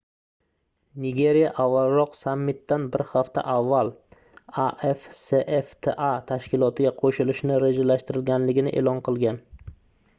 nigeriya avvalroq sammitdan bir hafta avval afcfta tashkilotiga qoʻshilishni rejalashtirganligini eʼlon qilgan